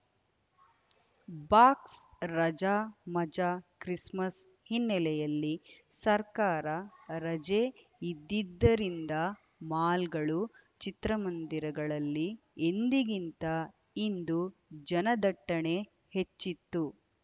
ಬಾಕ್ಸ್‌ರಜಾ ಮಜಾ ಕ್ರಿಸ್‌ಮಸ್‌ ಹಿನ್ನೆಲೆಯಲ್ಲಿ ಸರ್ಕಾರ ರಜೆ ಇದ್ದಿದ್ದರಿಂದ ಮಾಲ್‌ಗಳು ಚಿತ್ರಮಂದಿರಗಳಲ್ಲಿ ಎಂದಿಗಿಂತ ಇಂದು ಜನದಟ್ಟಣೆ ಹೆಚ್ಚಿತ್ತು